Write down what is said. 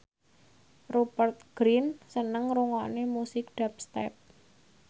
Rupert Grin seneng ngrungokne musik dubstep